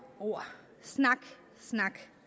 ord snak